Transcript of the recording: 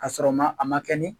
K 'a sɔrɔ ma a ma kɛ nin